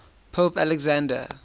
pope alexander